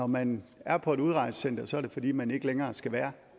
når man er på et udrejsecenter er det fordi man ikke længere skal være